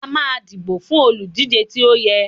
a ma dibo fún olúdije tí o yẹ